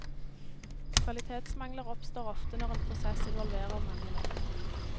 Kvalitetsmangler oppstår ofte når en prosess involverer mange ledd.